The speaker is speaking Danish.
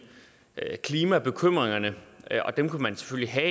klimabekymringerne og dem kan man selvfølgelig have